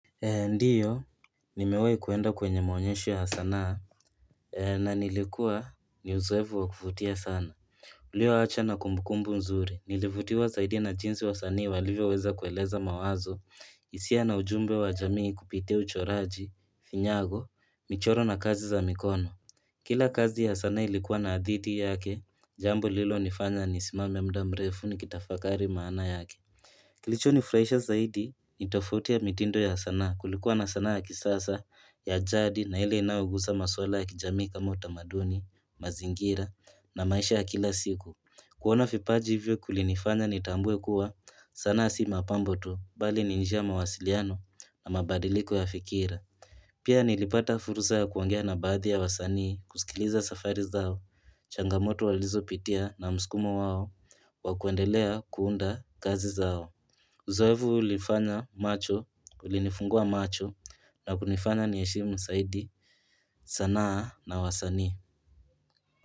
Ndio, nimewahi kuenda kwenye maonyesho ya sanaa na nilikuwa ni uzoefu wa kuvutia sana. Ulio acha na kumbukumbu nzuri. Nilivutiwa zaidi na jinsi wasanii walivyoweza kueleza mawazo hisia na ujumbe wa jamii kupitia uchoraji, vinyago, michoro na kazi za mikono Kila kazi ya sanaa ilikuwa na hadhithi yake Jambo lililonifanya nisimame muda mrefu nikitafakari maana yake Kilichonifurahisha zaidi, ni tofauti mitindo ya sanaa. Kulikuwa na sanaa ya kisasa, ya jadi na ile inayogusa maswala ya kijamii kama utamaduni, mazingira na maisha ya kila siku kuona vipaji hivyo kulinifanya nitambue kuwa sanaa si mapambo tu, bali ni njia ya mawasiliano na mabadiliko ya fikira Pia nilipata fursa ya kuongea na baadhi ya wasanii kusikiliza safari zao changamoto walizopitia na msukumo wao wa kuendelea kuunda kazi zao Uzoefu ulifanya macho ulinifungua macho na kunifanya niheshimu zaidi sanaa na wasanii.